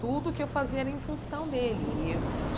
Tudo que eu fazia era em função dele e eu.